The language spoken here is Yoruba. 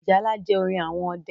Ìjálá jẹ́ orin àwọn ọdẹ